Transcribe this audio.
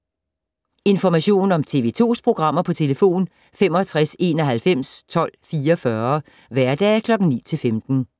Information om TV 2's programmer: 65 91 12 44, hverdage 9-15.